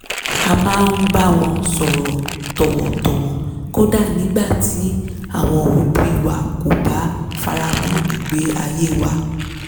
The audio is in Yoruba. a máa ń bá wọn sọ̀rọ̀ tọ̀wọ̀tọ̀wọ̀ kódà nígbà tí àwọn òbí wa kò bá faramọ́ igbé ayée wa